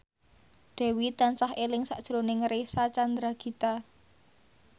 Dewi tansah eling sakjroning Reysa Chandragitta